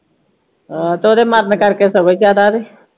ਆਹ ਤੇ ਓਹਦੇ ਮਰਨ ਕਰਕੇ ਸਗੋਂ ਈ ਜਿਆਦਾ ਤੇ